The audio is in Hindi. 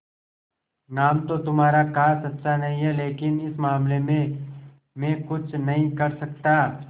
नाम तो तुम्हारा खास अच्छा नहीं है लेकिन इस मामले में मैं कुछ नहीं कर सकता